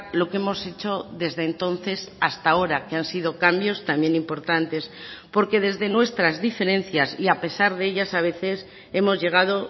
lo que hemos hecho desde entonces hasta ahora que han sido cambios también importantes porque desde nuestras diferencias y a pesar de ellas a veces hemos llegado